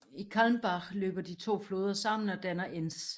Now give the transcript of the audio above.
I Calmbach løber de to floder sammen og dannar Enz